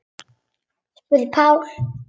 spurði Páll.